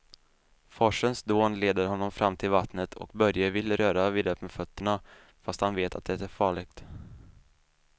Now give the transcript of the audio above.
Forsens dån leder honom fram till vattnet och Börje vill röra vid det med fötterna, fast han vet att det är farligt.